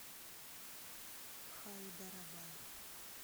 хайдарабад